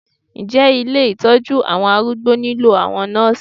Ǹjẹ́ ilé Ìtọ́jú àwọn arúgbó nílò àwọn Nọ́sìì.